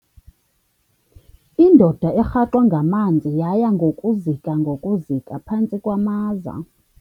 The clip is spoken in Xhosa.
Indoda erhaxwe ngamanzi yaya ngokuzika ngokuzika phantsi kwamaza.